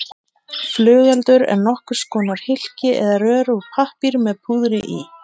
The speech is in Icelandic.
Flugeldur er nokkurs konar hylki eða rör úr pappír með púðri í.